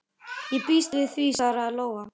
Ég býst við því, svaraði Lóa.